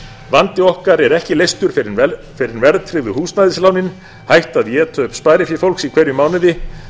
vandi okkar er ekki leystur fyrr en verðtryggðu húsnæðislánin hætta að éta upp sparifé fólks í hverjum mánuði